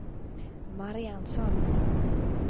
Marianne Salomonsson